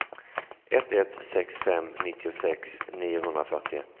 ett ett sex fem nittiosex niohundrafyrtioett